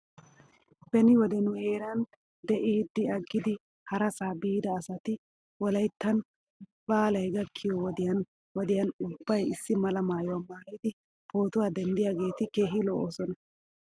Beni wode nu heeran de'iiddi aggidi harasaa biida asati wolayttan baalay gakkiyoo wodiyan wodiyan ubbay issi mala maayuwaa maayidi pootuwaa denddiyaageeti keehi lo'oosona.